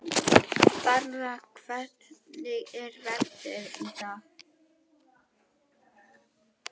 Dara, hvernig er veðrið í dag?